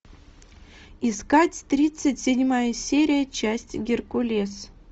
искать тридцать седьмая серия часть геркулес